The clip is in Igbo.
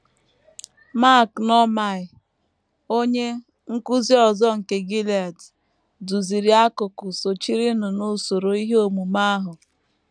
Mark Noumair, onye nkụzi ọzọ nke Gilead, duziri akụkụ sochirinụ n’usoro ihe omume ahụ.